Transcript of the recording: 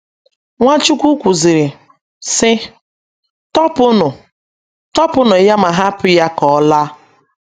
Nwachukwu kwuziri, sị: “ Tọpụnụ: “ Tọpụnụ ya ma hapụ ya ka ọ laa. ”